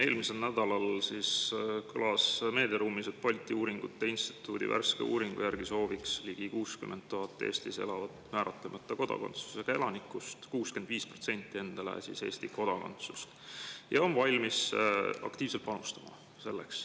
Eelmisel nädalal kõlas meediaruumis, et Balti Uuringute Instituudi värske uuringu järgi sooviks ligi 60 000‑st Eestis elavast määratlemata kodakondsusega elanikust 65% endale Eesti kodakondsust ja nad on valmis selleks aktiivselt panustama.